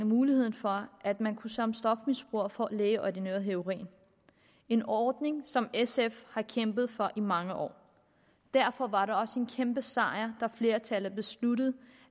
muligheden for at man som stofmisbruger kan få lægeordineret heroin en ordning som sf har kæmpet for i mange år derfor var det også en kæmpe sejr da et flertal besluttede